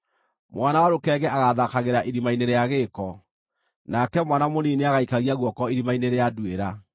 Mwana wa rũkenge agathaakagĩra irima-inĩ rĩa gĩĩko, nake mwana mũnini nĩagaikagia guoko irima-inĩ rĩa nduĩra.